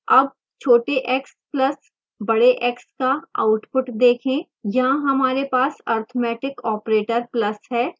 अब छोटे x plus बड़ेx का output देखें